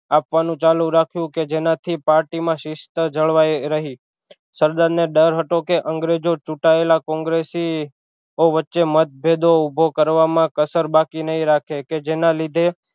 આપવાનું ચાલુ રાખ્યું કે જેના થી party માં શિસ્ત જળવાય રહી સરદાર ને ડર હતો કે અંગ્રેજો ચૂટાયેલા કોંગ્રેસી ઑ વચ્ચે મતભેદો ઊભો કરવામાં કસર બાકી નહિ રાખે કે જેના લીધે